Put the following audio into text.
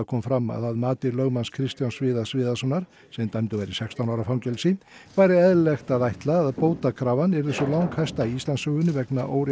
kom fram að að mati lögmanns Kristjáns Viðars Viðarssonar sem dæmdur var í sextán ára fangelsi væri eðlilegt að ætla að bótakrafan yrði sú langhæsta í Íslandssögunni vegna